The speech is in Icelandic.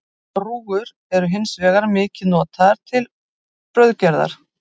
Rúgur eru hins vegar mikið notaðar til brauðgerðar.